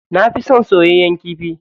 Na fi son soyayyen kifi.